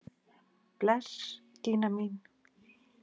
Bless Gína mín!